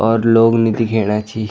और लोग नी दिख्येणा छी।